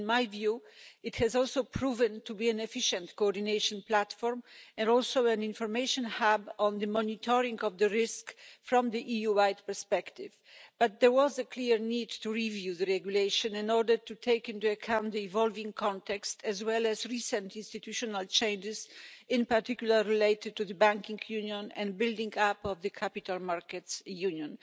In my view, it has also proven to be an efficient coordination platform and also an information hub for the monitoring of the risk from a EU wide perspective, but there was a clear need to review the regulation in order to take into account the evolving context as well as recent institutional changes, in particular related to the Banking Union and the building up of the Capital Markets Union.